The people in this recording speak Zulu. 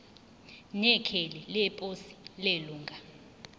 nekheli leposi lelunga